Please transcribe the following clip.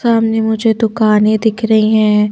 सामने मुझे दुकानें दिख रही हैं